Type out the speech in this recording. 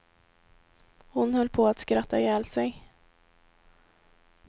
Hon höll på att skratta ihjäl sig.